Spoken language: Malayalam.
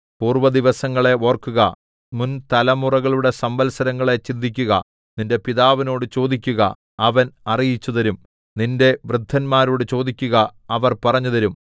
പൂർവ്വദിവസങ്ങളെ ഓർക്കുക മുൻ തലമുറകളുടെ സംവത്സരങ്ങളെ ചിന്തിക്കുക നിന്റെ പിതാവിനോട് ചോദിക്കുക അവൻ അറിയിച്ചുതരും നിന്റെ വൃദ്ധന്മാരോട് ചോദിക്കുക അവർ പറഞ്ഞുതരും